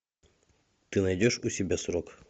ты найдешь у себя срок